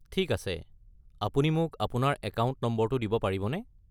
ঠিক আছে, আপুনি মোক আপোনাৰ একাউণ্ট নম্বৰটো দিব পাৰিবনে?